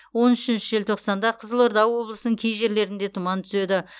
он үшінші желтоқсанда қызылорда облысының кей жерлерінде тұман түседі